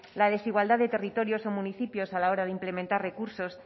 la desigualdad de territorios o municipios a la hora de implementar recursos